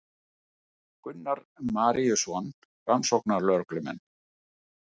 Gunnar Maríuson rannsóknarlögreglumenn.